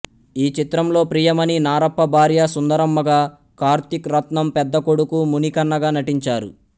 ఈ చిత్రంలో ప్రియమణి నారప్ప భార్య సుందరమ్మగా కార్తీక్ రత్నం పెద్ద కొడుకు మునికన్నగా నటించారు